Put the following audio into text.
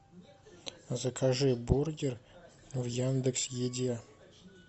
закажи бургер в яндекс еде